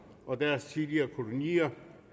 og deres tidligere kolonier